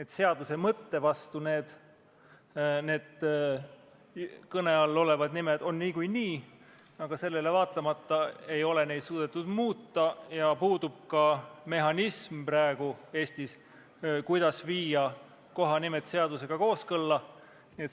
Kõne all olevad nimed on seaduse mõtte vastu, aga sellele vaatamata ei ole neid suudetud muuta ja praegu puudub Eestis ka mehhanism, kuidas viia need kohanimed seadusega kooskõlla.